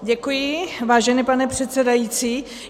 Děkuji, vážený pane předsedající.